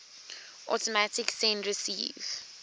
automatic send receive